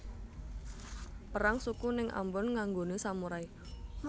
Perang suku ning Ambon nganggone samurai